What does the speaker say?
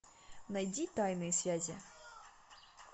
найди тайные связи